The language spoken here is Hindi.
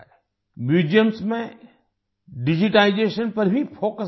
म्यूजियम्स में डिजिटाइजेशन पर भी फोकस बढ़ा है